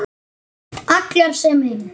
Allar sem ein.